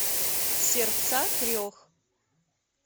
сердца трех